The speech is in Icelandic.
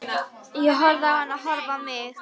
Ég horfði á hana horfa á mig.